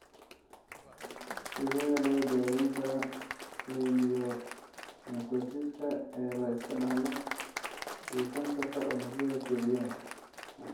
Sidee loo daweyn karaa leiomyomatosiska ee la iska dhaxlo iyo kansarka unugyada kelyaha?